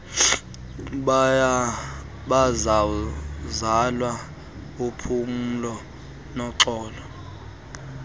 bazalwana uphumlo noxolo